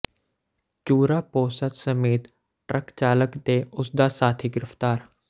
ਚੂਰਾ ਪੋਸਤ ਸਮੇਤ ਟਰੱਕ ਚਾਲਕ ਤੇ ਉਸ ਦਾ ਸਾਥੀ ਗਿ੍ਫ਼ਤਾਰ